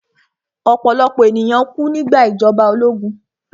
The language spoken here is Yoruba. Ọ̀pọ̀lọ̀pọ̀ ènìyàn kú nígbà ìjọba ológun